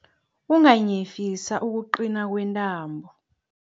Unganyefisa ukuqina kwentambo.